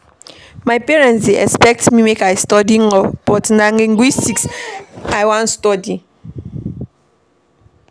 My parents dey expect make I study Law but na Linguistics I wan study.